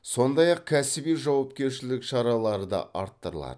сондай ақ кәсіби жауапкершілік шаралары да арттырылады